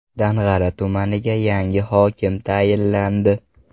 Dang‘ara tumaniga ham yangi hokim tayinlandi.